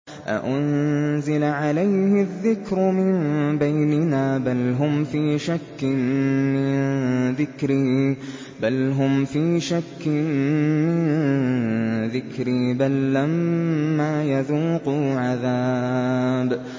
أَأُنزِلَ عَلَيْهِ الذِّكْرُ مِن بَيْنِنَا ۚ بَلْ هُمْ فِي شَكٍّ مِّن ذِكْرِي ۖ بَل لَّمَّا يَذُوقُوا عَذَابِ